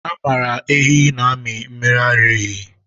A maara ehi na-amị mmiri ara ehi.